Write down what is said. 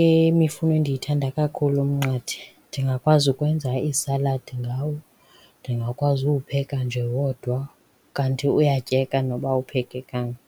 yemifuno endiyithanda kakhulu umnqathe ndingakwazi ukwenza iisaladi ngawo, ndingakwazi uwupheka nje wodwa, kanti uyatyeka noba awuphekekanga.